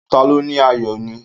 Ta ló ní ayò náà.?